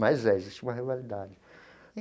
Mas é, existe uma rivalidade.